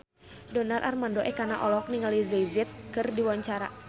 Donar Armando Ekana olohok ningali Jay Z keur diwawancara